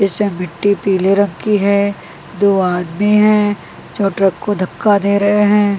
इसमें मिट्टी पीले रंग की है दो आदमी हैं जो ट्रक को धक्का दे रहे हैं।